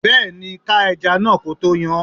Bẹẹni, ká ẹja náà ko tó yán.